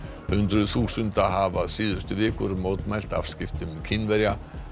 hundruð þúsunda hafa síðustu vikur mótmælt afskiptum Kínverja